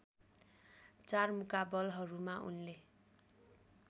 चार मुकाबलहरूमा उनले